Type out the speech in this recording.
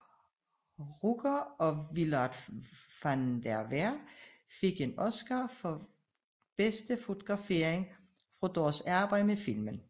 Rucker og Willard Van der Veer fik en Oscar for bedste fotografering for deres arbejde med filmen